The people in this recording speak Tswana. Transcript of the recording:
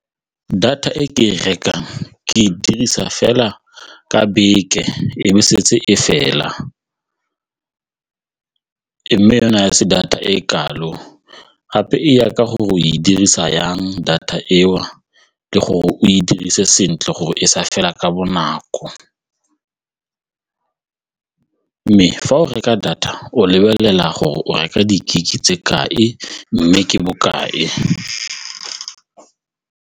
Data e ke e rekang ke e dirisa fela ka beke e be setse e fela yona se data e kalo gape e ya ka gore o e dirisa yang data eo le gore o e dirise sentle gore e sa fela ka bonako, mme fa o reka data o lebelela gore o reka di-gig-e tse kae mme ke bokae.